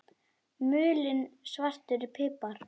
Mulinn svartur pipar